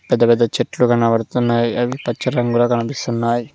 పెద్ద పెద్ద చెట్లు కనబడుతున్నాయి అవి పచ్చ రంగులో కనిపిస్తున్నాయి.